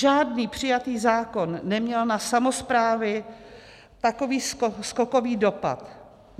Žádný přijatý zákon neměl na samosprávy takový skokový dopad.